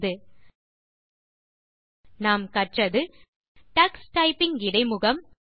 இந்த டுடோரியலில் நாம் கற்றது டக்ஸ் டைப்பிங் இடைமுகம்